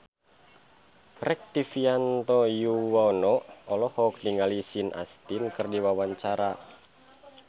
Rektivianto Yoewono olohok ningali Sean Astin keur diwawancara